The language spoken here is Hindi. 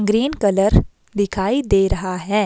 ग्रीन कलर दिखाई दे रहा है।